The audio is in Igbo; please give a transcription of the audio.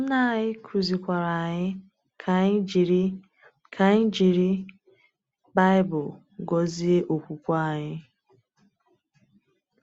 Nna anyị kụzikwara anyị ka anyị jiri ka anyị jiri Baịbụl gọzie okwukwe anyị.